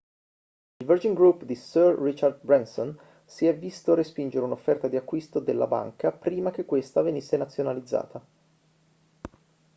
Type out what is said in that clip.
il virgin group di sir richard branson si è visto respingere un'offerta di acquisto della banca prima che questa venisse nazionalizzata